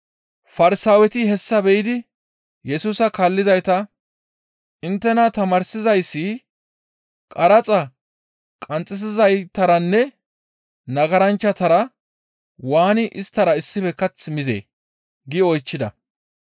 Farsaaweti hessa biyidi Yesusa kaallizayta, «Inttena tamaarsizayssi qaraxa qanxxisizaytaranne nagaranchchatara waani isttara issife kath mizee?» gi oychchida.